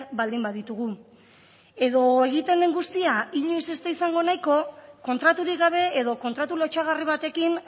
baldin baditugu edo egiten den guztia inoiz ez da izango nahiko kontraturik gabe edo kontratu lotsagarri batekin